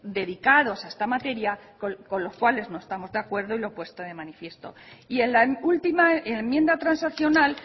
dedicados a esta materia con los cuales no estamos de acuerdo y lo he puesto de manifiesto y en la última enmienda transaccional